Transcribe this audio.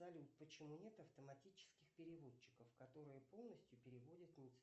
салют почему нет автоматических переводчиков которые полностью переводят